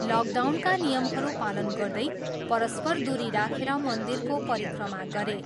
लकडाउनका नियमहरू पालन गर्दै, परस्पर दुरी राखेर मन्दिरको परिक्रमा गरे।